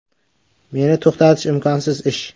Meni to‘xtatish imkonsiz ish.